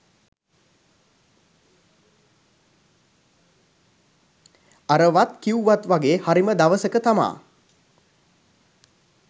අර වත් කිව්වත් වගේ හරිම දවසක තමා